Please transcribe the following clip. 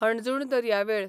हणजूण दर्यावेळ